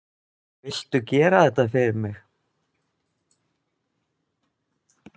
Viltu gera þetta fyrir mig!